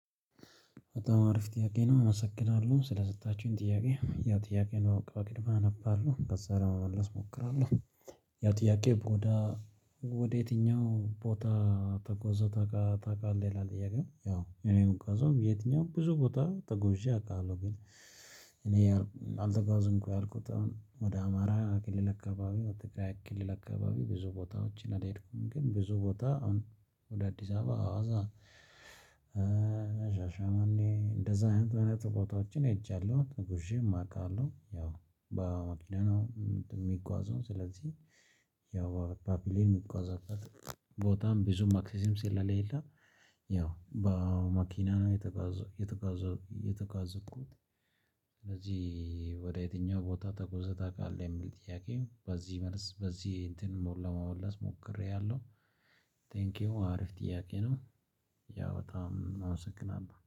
በጣም አሪፍ ጥያቄ ነው አመሰግናለሁ ስለሰጣችሁኝ ጥያቄ ያ ጥያቄ ነው በቅምያ አነባለሁ ከዛ ለመመለስ እሞክራለሁ። ያው ጥያቄ ወደ ወደ የትኛው ቦታ ተጉዘህ ታቃ ታቃለህ ይላል? ጥያቄ ያው እኔ ምጓዘው የትኛውም ብዙ ቦታ ተጉዤ አውቃለሁ ግን። እኔ አልዘጋዝንም ያልኩት አሁን ወደ አማራ ክልል አካባቢ ወደ ትግራይ ክልል አካባቢ ብዙ ቦታዎችን አልሄድኩም። ግን ብዙ ቦታ አሁን ወደ አዲስ አበባ አዋሳ። ሻሸመኔ እንደዛ አይነት ቦታዎችን ሄጃለሁ ተጉዤም አውቃለሁ። ያው በመኪና ነው የሚጓዘው ስለዚህ ያው በፕሌን ይጓዛል። ቦታም ብዙ ማክሲሲም ስለሌለ ያው በመኪና ነው የተጓዘው የተጋዘው የተጋዝኩት። ስለዚህ ወደ የትኛው ቦታ ተጎዘተህ ታውቃለህ? የሚል ጥያቄ በዚህ መልስ በዚህ እንትን ሞል ለመወለስ ሞክሬያለሁ። ቴንኪው አሪፍ ጥያቄ ነው። ያው በጣም አመሰግናለሁ